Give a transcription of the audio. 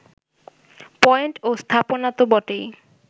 point ও স্থাপনা তো বটেই